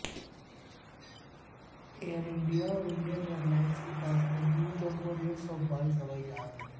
Air India اور Indian airlines کے پاس مجموعی طور پر ایک سو بائیس ہوائی جہاز ہیں